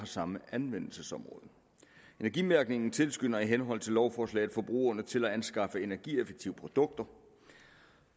samme anvendelsesområde energimærkningen tilskynder i henhold til lovforslaget forbrugerne til at anskaffe energieffektive produkter